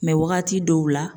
Mɛ wagati dɔw la